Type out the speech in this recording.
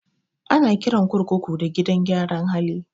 Ana kiran kurkuku da gidan gyara hali